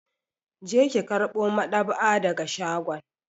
Je ki karɓo madab'a daga shagon!